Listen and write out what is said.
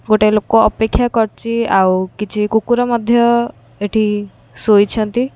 ଗୋଟାଏ ଲୋକ ଅପେକ୍ଷା କରିଚି ଆଉ କିଛି କୁକୁର ମଧ୍ୟ ଏଠି ଶୋଇଛନ୍ତି।